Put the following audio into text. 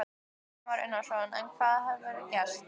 Kristján Már Unnarsson: En hvað hefur gerst?